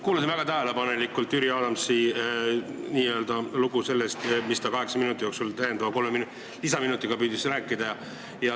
Kuulasin väga tähelepanelikult Jüri Adamsi n-ö lugu, mida ta kaheksa minuti jooksul püüdis rääkida.